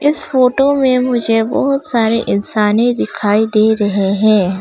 इस फोटो में मुझे बहुत सारे इंसाने दिखाई दे रहे हैं।